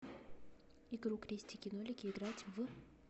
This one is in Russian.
игру крестики нолики играть в